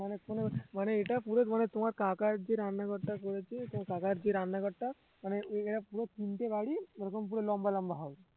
মানে কোন মানে এইটা পুরো তোমার কাকার যে রান্নাঘরটা করেছে তোমার কাকার যে রান্নাঘরটা মানে এ~ এরা পুরো তিনটে বাড়ি এরকম লম্বা লম্বা হবে